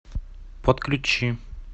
подключи